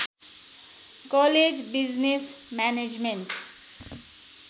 college business management